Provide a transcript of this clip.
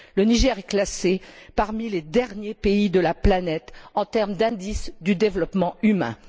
Le Niger est classé parmi les derniers pays de la planète en termes d'indice du développement humain.